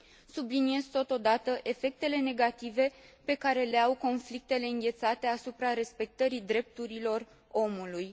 Subliniez, totodată, efectele negative pe care le au conflictele înghețate asupra respectării drepturilor omului.